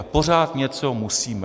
A pořád něco musíme.